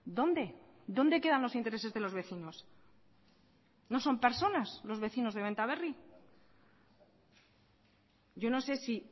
dónde dónde quedan los intereses de los vecinos no son personas los vecinos de benta berri yo no sé si